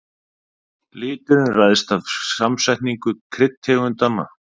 Liturinn ræðst af samsetningu kryddtegundanna.